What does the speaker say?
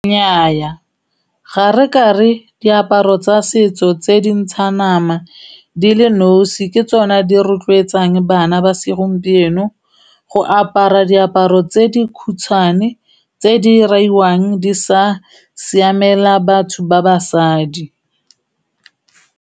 Nnyaya, ga re kare diaparo tsa setso tse dintshang nama di le nosi ke tsona di rotloetsang bana ba segompieno go apara diaparo tse di khutshwane, tse di raiwang, di sa siamela batho ba basadi.